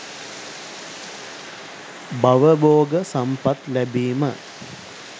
භව භෝග සම්පත් ලැබීම,